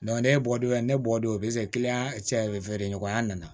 ne bɔ don ne bɔ don sera ɲɔgɔn ya nana